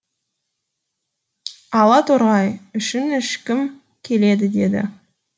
ала торғай үшін ішкім келеді дейді